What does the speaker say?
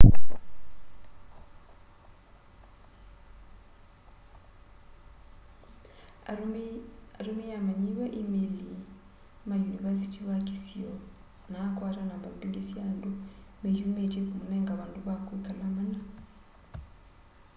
atumiye amanyiwa imeili ma yunivasiti ya kisio na akwata namba mbingi sya andu meyumitye kumunenga vandu va kwikala mana